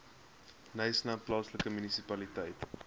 knysna plaaslike munisipaliteit